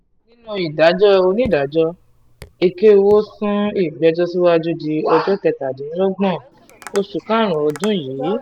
nínú ìdájọ́ onídàájọ́ èkéwò sún ìgbẹ́jọ́ síwájú di ọjọ́ kẹtàdínlọ́gbọ̀n oṣù karùn-ún ọdún yìí